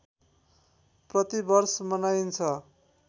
प्रति वर्ष मनाइन्छ